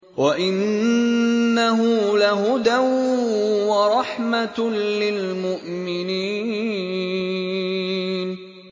وَإِنَّهُ لَهُدًى وَرَحْمَةٌ لِّلْمُؤْمِنِينَ